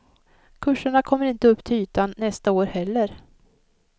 Kurserna kommer inte upp till ytan nästa år heller.